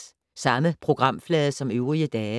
Samme programflade som øvrige dage